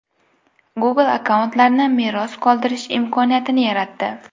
Google akkauntlarni meros qoldirish imkoniyatini yaratdi.